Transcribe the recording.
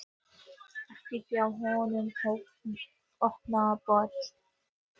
Ekki hjá hinu opinbera.